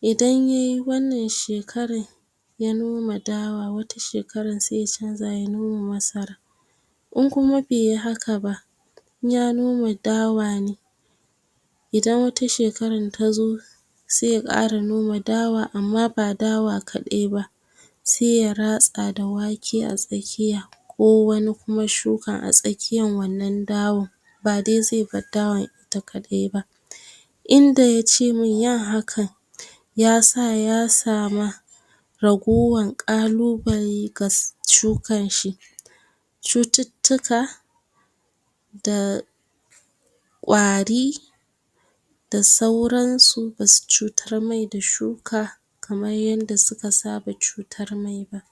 idan yayi wannan shekaran ya noma dawa, wata shekaran sai ya canza ya noma masara. In kuma beyi haka ba, in ya noma dawa ne, idan wata shekaran ta zo sai ya ƙara noma dawa, amma ba dawa kaɗai ba, se ya ratsa da wake a tsakkiya, ko wani kuma shuka a tsakkiyan wannan dawan, ba dai ze bar dawan ita kaɗai ba. Inda yace mun yin hakan ya sa ya sama ragowan ƙalubale ga shukan shi, cututtuka da ƙwari, da sauran su, masu cutar mai da shuka kamar yanda suka saba cutar mai daː